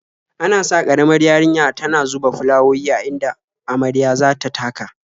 Ana sa ƙaramar yarinya tana zuba fulawowi a inda marya za ta taka.